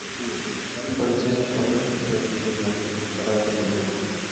полицейский с рублевки первый сезон вторая серия